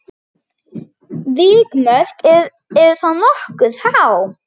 Vikmörk eru þá nokkuð há.